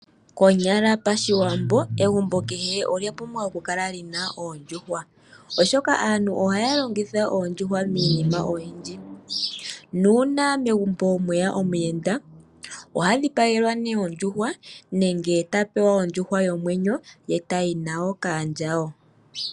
Konyala pashiwambo egumbo kehe ola pumbwa oku kala lina oondjuhwa oshoka aantu ohaya longitha oondjuhwa miinima oyindji nuuna megumbo mweya omuyenda ohadhi pagelwa nee ondjuhwa nenge ta pewa ondjuhwa yomwenyo ye tayi nayo kaandjawo .